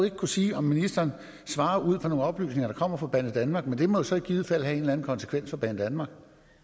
ikke kunne sige om ministeren svarer ud fra nogle oplysninger der kommer fra banedanmark men det må jo så i givet fald have en eller anden konsekvens for banedanmark